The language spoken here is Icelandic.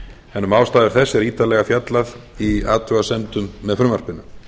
en um ástæður þess er ítarlega fjallað í athugasemdum með frumvarpinu